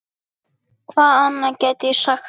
Hvað annað get ég sagt?